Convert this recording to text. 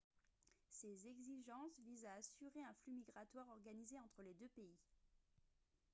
ces exigences visent à assurer un flux migratoire organisé entre les deux pays